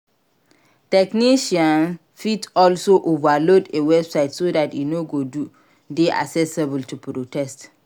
Technician fit also overload a website so that e no go de accessible to protest